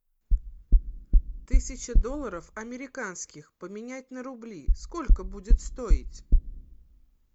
тысяча долларов американских поменять на рубли сколько будет стоить